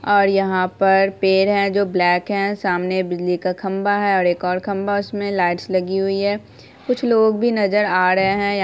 और यहां पर पेड़ है जो ब्लैक है समाने बिजली का खम्भा है और एक खम्भा और है उसमे लाइट्स लगी हुई हैं। कुछ लोग भी नजर आ रहे है यहां --